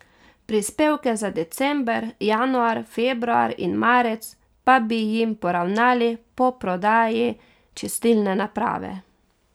Prispevke za december, januar, februar in marec pa bi jim poravnali po prodaji čistilne naprave.